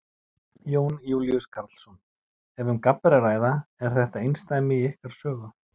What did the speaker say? Jón Júlíus Karlsson: Ef um gabb er að ræða, er þetta einsdæmi í ykkar sögu?